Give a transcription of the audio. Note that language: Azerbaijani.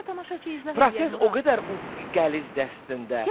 Proses o qədər qəlizdir əslində.